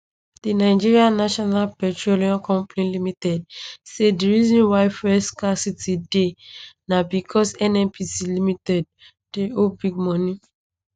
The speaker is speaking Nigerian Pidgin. di nigeria national petroleum company limited say di reason why fuel scarcity dey na becos nnpc limited dey owe big money